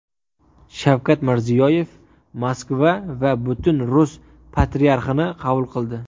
Shavkat Mirziyoyev Moskva va Butun Rus Patriarxini qabul qildi.